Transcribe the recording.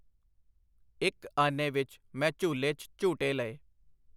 ਇੱਕ ਆਨੇ ਵਿੱਚ ਮੈਂ ਝੂਲੇ 'ਚ ਝੂਟੇ ਲਏ.